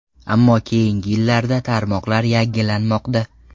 Ammo keyingi yillarda tarmoqlar yangilanmoqda.